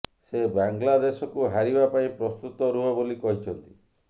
ସେ ବାଂଲାଦେଶକୁ ହାରିବା ପାଇଁ ପ୍ରସ୍ତୁତ ରୁହ ବୋଲି କହିଛନ୍ତି